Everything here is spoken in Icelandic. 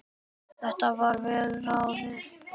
Þetta var vel ráðið.